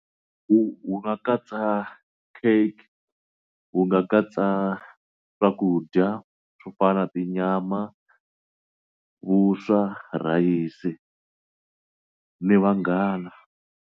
Wu wu nga katsa cake u nga katsa swakudya swo fana na tinyama, vuswa, rhayisi ni vanghana.